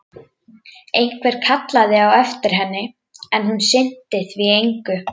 Einhver kallaði á eftir henni, en hún sinnti því engu.